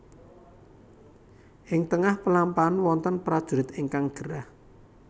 Ing tengah pelampahan wonten prajurit ingkang gerah